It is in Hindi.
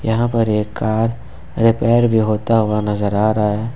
यहाँ पर एक कार रिपेयर भी होता हुआ नजर आ रहा है।